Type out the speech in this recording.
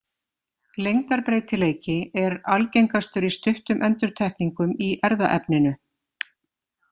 Lengdarbreytileiki er algengastur í stuttum endurtekningum í erfðaefninu.